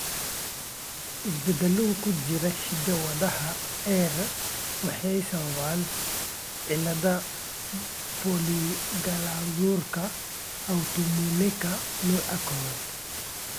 Isbeddellada ku jira hidda-wadaha AIRE waxay sababaan cilladda polyglandularka autoimmuneka, nooca kowaad.